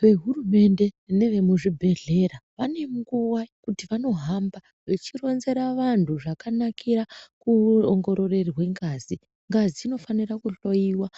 Vehurumende nevemuzvibhedhleya vanenguva yekuti vanohamba vechironzera vantu zvakanakira kuongororwe ngazi, ngazi inofana kuhloyiwa